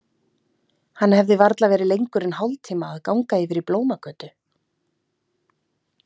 Hann hefði varla verið lengur en hálftíma að ganga yfir í Blómagötu?